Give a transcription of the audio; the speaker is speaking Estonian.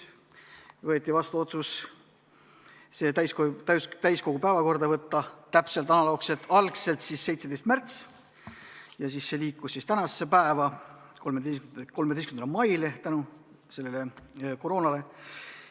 Võeti vastu otsus see eelnõu täiskogu päevakorda võtta täpselt analoogselt, algul 17. märtsil ja siis see liikus tänasesse päeva, 13. maile, tänu koroonale.